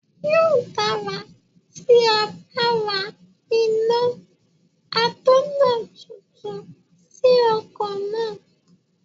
Yóò dára tí a bá ra iná atọ̀nà tuntun sí ọkọ̀ náà.